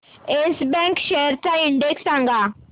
yes Bank shares चा index सांगा